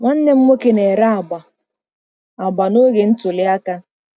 Nwanne m nwoke na-ere agba agba n'oge ntuli aka.